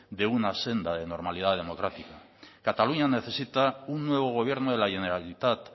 en una senda de normalidad democrática cataluña necesita un nuevo gobierno de la generalitat